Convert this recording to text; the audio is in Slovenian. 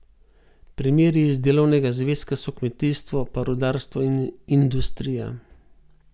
Primeri iz delovnega zvezka so kmetijstvo pa rudarstvo in industrija.